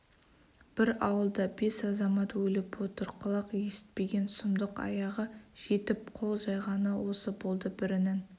бір ауылда бес азамат өліп отыр құлақ есітпеген сұмдық аяғы жетіп қол жайғаны осы болды бірінің